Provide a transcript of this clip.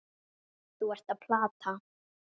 Þú ert að plata.